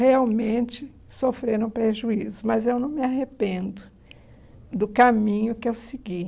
Realmente sofreram prejuízo, mas eu não me arrependo do caminho que eu segui.